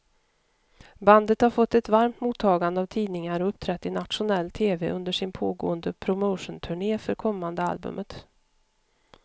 Bandet har fått ett varmt mottagande av tidningar och uppträtt i nationell tv under sin pågående promotionturné för kommande albumet.